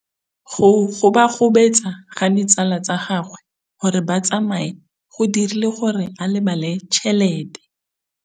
Go gobagobetsa ga ditsala tsa gagwe, gore ba tsamaye go dirile gore a lebale tšhelete.